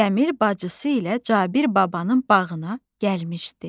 Cəmil bacısı ilə Cabir babanın bağına gəlmişdi.